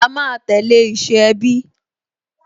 A máa tẹ̀lé ìṣe ẹbí